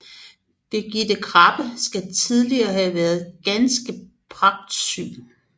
Birgitte Krabbe skal tillige have været ganske pragtsyg